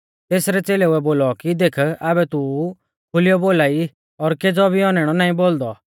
तेसरै च़ेलेउऐ बोलौ कि देख आबै तू खुलीयौ बोलाई और केज़ौ भी औनैणौ नाईं बोलदौ